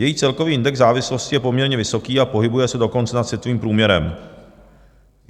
Její celkový index závislosti je poměrně vysoký, a pohybuje se dokonce nad světovým průměrem.